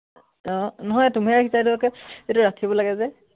আহ নহয় তুমিয়ে ৰাখিছা এইটো, আক এইটো ৰাখিব লাগে যে।